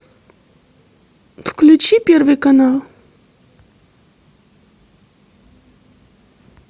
включи первый канал